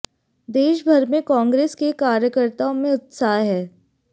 देश भर में कांग्रेस के कार्यकर्ताओँ में उत्साह है